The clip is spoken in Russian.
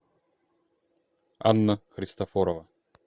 анна христофорова